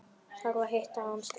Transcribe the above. Þarf að hitta hann strax.